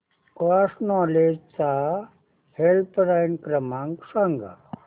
cross Knowledge चा helpline क्रमांक सांगा